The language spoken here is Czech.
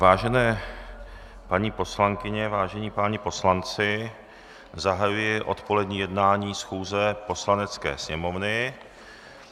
Vážené paní poslankyně, vážení páni poslanci, zahajuji odpolední jednání schůze Poslanecké sněmovny.